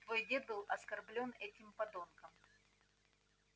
твой дед был оскорблён этим подонком